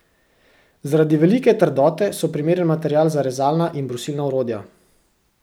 Zaradi velike trdote so primeren material za rezalna in brusilna orodja.